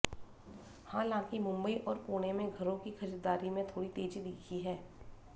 हालांकि मुंबई और पुणे में घरों की खरीदारी में थोड़ी तेजी दिखी है